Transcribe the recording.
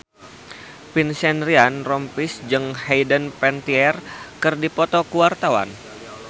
Vincent Ryan Rompies jeung Hayden Panettiere keur dipoto ku wartawan